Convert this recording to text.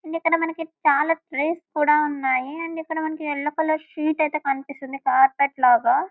and ఇక్కడ మనకి చాలా ట్రీస్ కూడా ఉన్నాయి అండ్ ఇక్కడ మనకి యెల్లో కలర్ షీట్ ఐతే కనిపిస్తుంది కార్పెట్ లాగా --